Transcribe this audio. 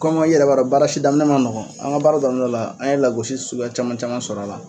Kɔn kɔmi i yɛrɛ b'a dɔn baara si daminɛ man nɔgɔn, an ka baara daminɛ la, an ye lagosi sugu caman caman sɔrɔ a la.